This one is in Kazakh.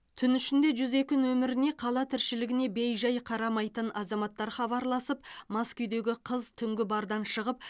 түн ішінде жүз екі нөміріне қала тіршілігіне бей жай қарамайтын азаматтар хабарласып мас күйдегі қыз түнгі бардан шығып